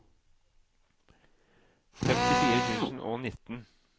femtifire tusen og nitten